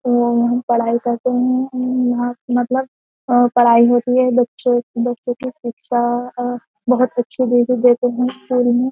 वो हम पढ़ाई करते हैं मतलब पढ़ाई होती है बच्चे बच्चों की शिक्षा बहुत अच्छी देते हैं स्कूल में।